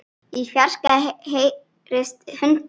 Í fjarska heyrist í hundi.